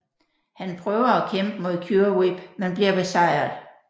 Han prøver at kæmpe mod Cure Whip men bliver besejret